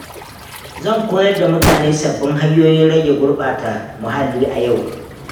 Zan koyar da mutane sabbin hanyoyin rage gurɓata muhalli a yau.